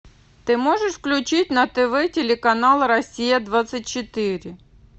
ты можешь включить на тв телеканал россия двадцать четыре